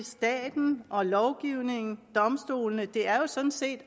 staten lovgivningen og domstolene er jo sådan set